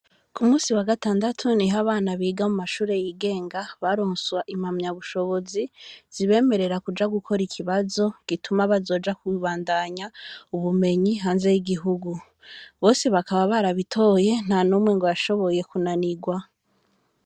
ku munsi wagatandatu niho abana biga mu mashuri yigenga baronswa impamya bushobozi zibemerera kuja gukora ikibazo gituma bazoja ku bandanya ubumenyi hanze y'igihugu bose bakaba barabitoye ntanumwe ngo yashoboye kunanirwa.